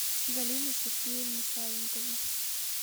галина сергеевна савинкова